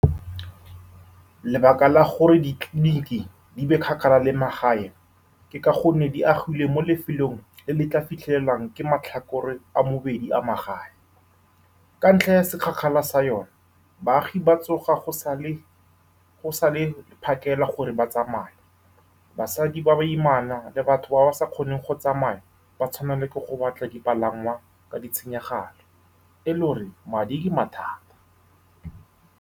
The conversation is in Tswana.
Lebaka la gore ditleliniki di be kgakala le magae ke ka gonne di agilwe mo lefelong le le tla fitlhelelwang ke matlhakore a mabedi a magae. Ka ntlha ya bokgakala jwa yone, baagi ba tsoga go sa le go sa le phakela gore ba tsamaye. Basadi ba ba imana le batho ba ba sa kgoneng go tsamaya ba tshwanelwa ke go batla dipalangwa, mme ditshenyegelo le madi di nna mathata.